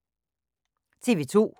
TV 2